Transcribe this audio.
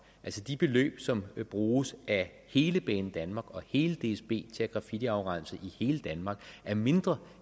altså de beløb som bruges af hele banedanmark og hele dsb til at graffitiafrense i hele danmark er mindre